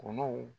Olu